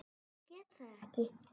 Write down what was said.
Ég get það ekki